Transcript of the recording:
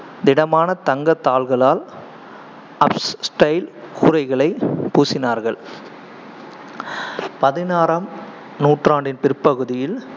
திடமான தங்கத் தாள்களால் கூரைகளை பூசினார்கள் பதினாறாம் நூற்றாண்டின் பிற்பகுதியில்